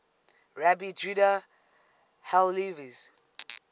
rabbi judah halevi's